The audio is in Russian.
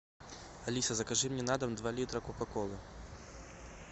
алиса закажи мне на дом два литра кока колы